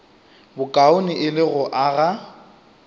bokaone e le go aga